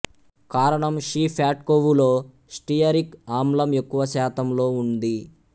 కారణం షీ ఫ్యాట్కొవ్వులో స్టియరిక్ ఆమ్లం ఎక్కువ శాతంలో ఉంది